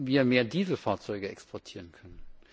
wir mehr Dieselfahrzeuge exportieren können?